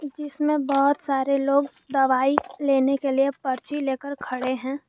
इसमें बहुत सारे लोग दवाई लेने के लिए पर्ची लेकर खड़े हैं।